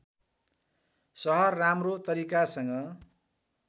सहर राम्रो तरिकासँग